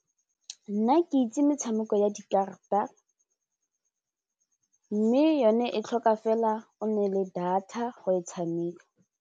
Nna ke itse metshameko ya dikarata mme yone e tlhoka fela o nne le data go e tshameka.